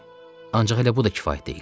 Ancaq elə bu da kifayət deyil.